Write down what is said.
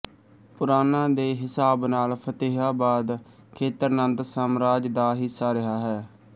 ਪੁਰਾਣਾ ਦੇ ਹਿਸਾਬ ਨਾਲ ਫ਼ਤਿਹਾਬਾਦ ਦਾ ਖੇਤਰ ਨੰਦ ਸਾਮਰਾਜ ਦਾ ਹਿੱਸਾ ਰਿਹਾ ਹੈ